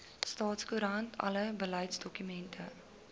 staatskoerant alle beleidsdokumente